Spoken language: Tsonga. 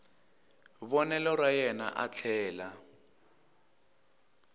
vonelo ra yena a tlhela